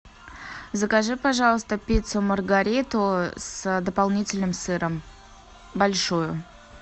закажи пожалуйста пиццу маргариту с дополнительным сыром большую